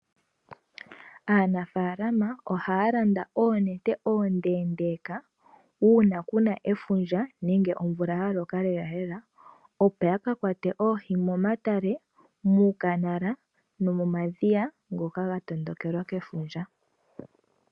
Aanafalama ohalanda oonete ondendeka uuna kuna efundja nenge omvula yaloka lela lela opo yaka kwate oohi momatale muukanala no momadhiya ngoka ga tondokelwa keefundja.